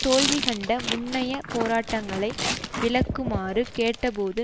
தோல்வி கண்ட முன்னைய போராட்டங்களை விளக்குமாறு கேட்ட போது